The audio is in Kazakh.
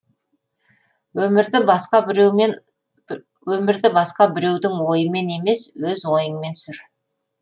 өмірді басқа біреудің ойымен емес өз ойыңмен сүр